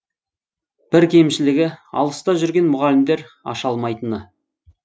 бір кемшілігі алыста жүрген мұғалімдер аша алмайтыны